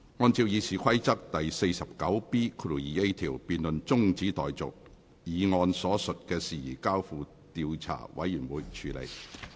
按照《議事規則》第 49B 條，辯論中止待續，議案所述的事宜交付調查委員會處理。